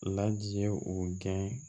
Ladi ye u gɛn